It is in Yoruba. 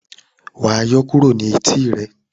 wá yọ kúrò ní Etí e!